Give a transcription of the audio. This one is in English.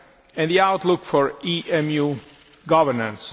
and the outlook for EMU governance.